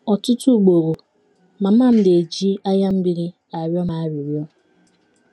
Ọtụtụ ugboro, mama m na - eji anya mmiri arịọ m arịrịọ.